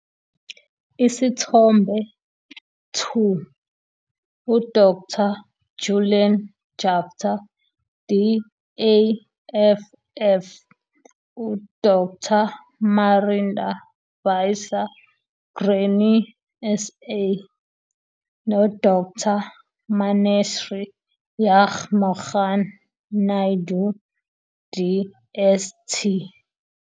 Isithombe 2- U-Dr Julian Jaftha, DAFF, u-Dr Marinda Visser, Grain SA, noDr Maneshree Jugmohan-Naidu, DST.